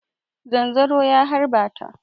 Zanzaro ya harba ta.